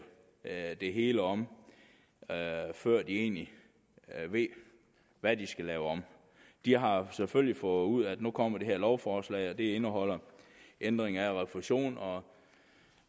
det hele om før de egentlig ved hvad de skal lave om de har selvfølgelig fundet ud af at nu kommer det her lovforslag og at det indeholder ændringer i refusionen og